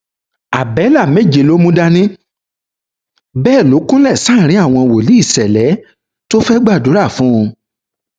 abẹlà méje ló mú dání bẹẹ ló kúnlẹ sáàrin àwọn wòlíì ṣẹlẹ tó fẹẹ gbàdúrà fún un